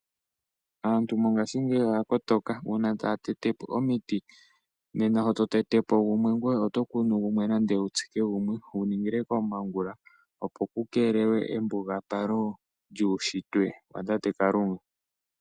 Aantu mongaashingeyi oya kotoka, uuna taya tete po omiti nena sho to tete po gumwe ngoye oto kunu gumwe nenge wu tsike po gumwe wu ningile komongula, opo ku keelelwe embugapalo lyuushitwe wa tate Kalunga.